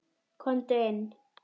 Komdu inn